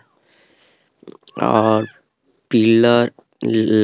और पिलर लाल कलर का है।